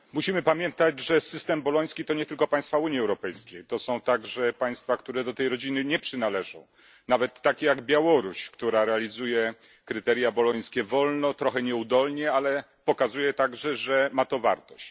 Pani Przewodnicząca! Musimy pamiętać, że system boloński to nie tylko państwa Unii Europejskiej. To są także państwa, które do tej rodziny nie przynależą, nawet tak jak Białoruś, która realizuje kryteria bolońskie wolno, trochę nieudolnie, ale pokazuje także że ma to wartość.